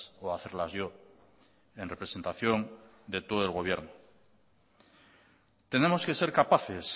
o hacerlas yo en representación de todo el gobierno tenemos que ser capaces